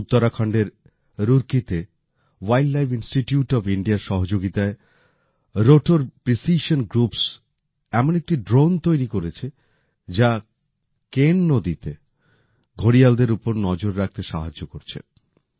উত্তরাখণ্ডের রুরকিতে wildlife institute of ইন্ডিয়ার সহযোগিতায় রোটোর প্রিসিশন গ্রুপস এমন একটি ড্রোন তৈরি করেছে যা কেন নদীতে ঘড়িয়ালদের উপর নজর রাখতে সাহায্য করছে